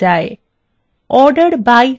order by বাক্যাংশ ব্যবহার